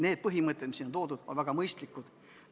Need põhimõtted, mis siin on toodud, on väga mõistlikud.